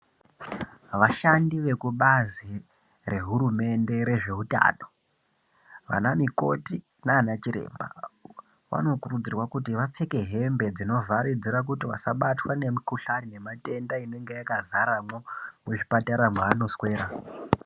Vashandi vekubazi rehurumende rezveutano, vanamikoti naana chiremba vanokurudzirwa kuti vapfeke hembe dzinovharidzira kuti vasabatwa ngemikuhlani nematenda inenge yakazaremwo muzvipatara mwaanoswera.